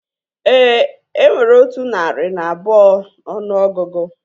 Éè, enwere otu narị na abụọ n'ọnụ ọgụgụ